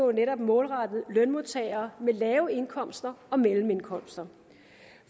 er netop målrettet lønmodtagere med lave indkomster og mellemindkomster